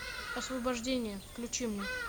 освобождение включи мне